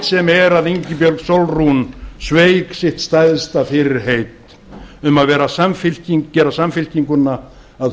sem er að ingibjörg sólrún gísladóttir sveik sitt stærsta fyrirheit það er um að gera samfylkinguna að